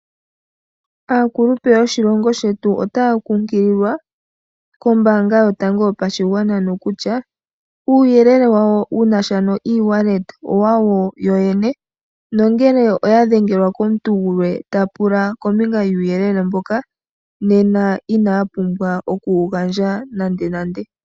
Aakulupe yoshilongo shetu otaya kunkililwa kombanga yotango yopashigwana nokutya uuyelele wayo wunasha no Ewallet owayo yoyene. Nongele oya dhengelwa komuntu gulwe ta pula uuyelele mbuka nena inaya pumbwa oku wu gandja nande nande.